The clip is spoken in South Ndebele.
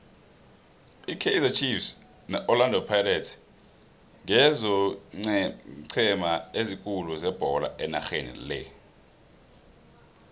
ikaizer chiefs ne orlando pirates ngizoeenceme ezikhulu zebolo enarheni le